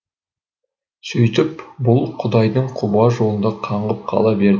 сөйтіп бұл құдайдың құба жолында қаңғып қала берді